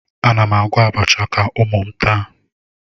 Ana m agwọ abacha ka ụmụ m taa